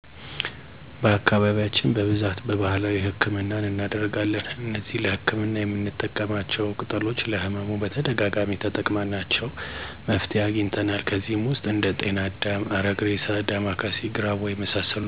በአካባቢያችን በብዛት በባህላዊ ህክምናን እናደርጋለን። እነዚህ ለህክምና የምንጠቀማቸው ቅጠሎች ለህመሙ በተደጋጋሚ ተጠቅመናቸው መፍትሄ አግኝተናል። ከነዚህም ውስጥ እንደ ጤና አዳም፣ አረግሬሳ፣ ዳማከሴ፣ ግራዋ የመሳሰሉት ይጠቀሳሉ። እነዚህን የቅጠል መድሀኒቾች ለመጠቀም ህመሙን ማወቅ ይኖርብናል። ለምሳሌ ያክል ዳማከሴን ብናነሳ ይህን የቅጠል መደሀኒት በብዛት ምንጠቀመው ሰውነታችንን ምች ሲመታን ነው። ምች መመታታችንን ምናቅበት አካባቢው ላይ የመቁሰል የመቅላት የማቃጠል ምልክትን ያሳያል በዛ ጊዜ ዳማከሴውን በመጭመቅ ሆነ አልያ ደግሞ በመታጠን ከህመሙ መገላገል ይቻላል።